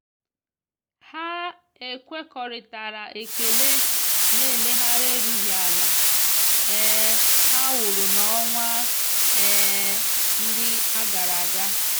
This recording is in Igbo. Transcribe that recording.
ha ekwekoritara ekele na eleghara erughi ala um ha wụrụ na-onwa um ndi agaraga.